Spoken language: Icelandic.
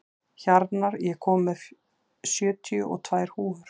Hjarnar, ég kom með sjötíu og tvær húfur!